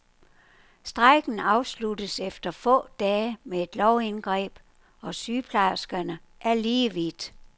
Strejken afsluttes efter få dage med et lovindgreb, og sygeplejerskerne er lige vidt.